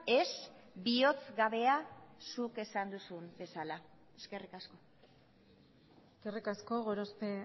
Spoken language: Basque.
ez bihotz gabea zuk esan duzun bezala eskerrik asko eskerrik asko gorospe